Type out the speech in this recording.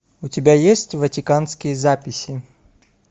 у тебя есть ватиканские записи